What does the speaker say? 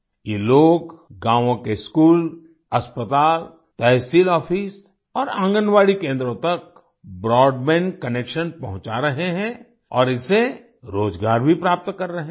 ये लोग गांवो के स्कूल अस्पताल तहसील ऑफिस और आंगनवाडी केंद्रों तक ब्रॉडबैंड कनेक्शन पहुंचा रहे हैं और इससे रोजगार भी प्राप्त कर रहे हैं